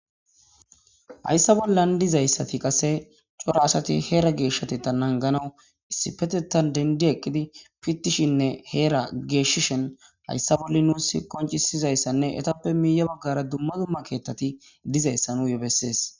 Hayssa bollan dizayssati qase cora asati heera geeshshati ta nanganawu issi petetan dendi eqqidi pitishinne heera geeshishen hayssa bolla nuus koncisizayssanne etappe miiya baggara dumma dumma keettati dizayssa nu yo bessees